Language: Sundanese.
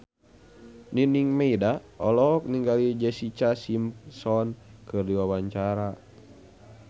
Nining Meida olohok ningali Jessica Simpson keur diwawancara